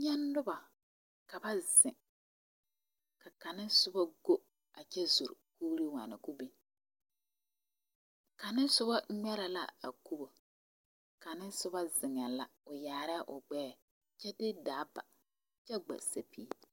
Nye nobɔ ka ba zeŋ. Ka kang nɛ suba go kyɛ zɛl kuure waana ka o bin. Kang nɛ subo ŋmɛrɛ la a kubo. Ka kang nɛ subo zeŋe la. O yaarɛ o gbɛɛ kyɛ de daa ba. Kyɛ gbesapil